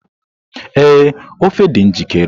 Ee, ofe dị njikere